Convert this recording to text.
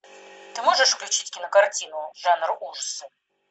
ты можешь включить кинокартину жанр ужасов